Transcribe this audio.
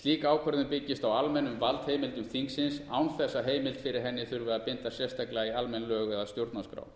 slík ákvörðun byggist á almennum valdheimildum þingsins án þess að heimild fyrir henni þurfi að binda sérstaklega í almenn lög eða stjórnarskrá